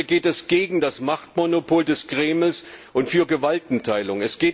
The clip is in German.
Heute geht es gegen das Machtmonopol des Kremls und für Gewaltenteilung.